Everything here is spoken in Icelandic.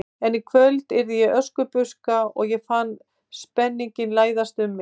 En í kvöld yrði ég Öskubuska og ég fann spenninginn læsast um mig.